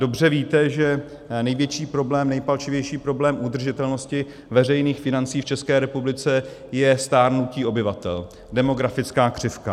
Dobře víte, že největší problém, nejpalčivější problém udržitelnosti veřejných financí v České republice je stárnutí obyvatel, demografická křivka.